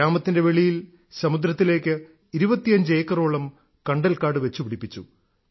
ഗ്രാമത്തിന്റെ വെളിയിൽ സമുദ്രത്തിലേക്ക് 25 ഏക്കറോളം കണ്ടൽക്കാട് വെച്ചുപിടിപ്പിച്ചു